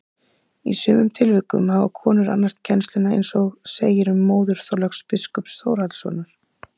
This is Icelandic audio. Í sumum tilvikum hafa konur annast kennsluna eins og segir um móður Þorláks biskups Þórhallssonar.